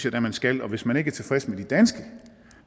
at man skal og hvis man ikke er tilfreds med de danske